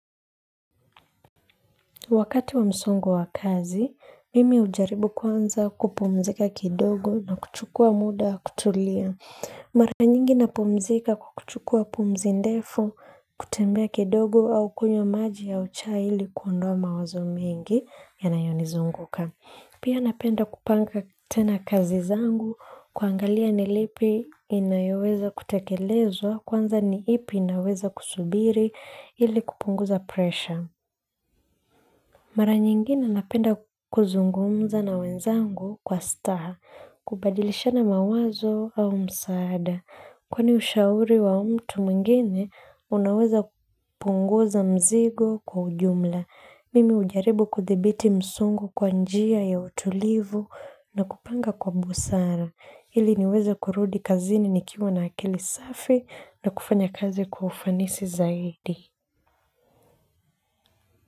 Wakati wa msongo wa kazi, mimi hujaribu kwanza kupumzika kidogo na kuchukua muda kutulia. Mara nyingi napumzika kwa kuchukua pumzi ndefu kutembea kidogo au kunywa maji au chai ili kuondoa mawazo mengi yanayonizunguka. Pia napenda kupanga tena kazi zangu kuangalia ni lipi inayoweza kutekelezwa kwanza ni ipi inaweza kusubiri ili kupunguza pressure. Mara nyingine napenda kuzungumza na wenzangu kwa staha, kubadilishana mawazo au msaada. Kwani ushauri wa mtu mwingine, unaweza kupunguza mzigo kwa ujumla. Mimi hujaribu kuthibiti msongo kwa njia ya utulivu na kupanga kwa busara. Ili niweze kurudi kazini nikiwa na akili safi na kufanya kazi kwa ufanisi zaidi.